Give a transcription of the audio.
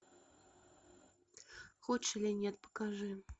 хочешь или нет покажи